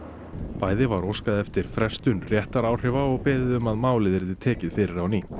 bæði var óskað eftir frestun réttaráhrifa og beðið um að málið yrði tekið fyrir á ný